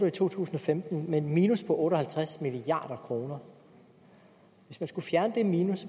i to tusind og femten med et minus på otte og halvtreds milliard kroner hvis man skal fjerne det minus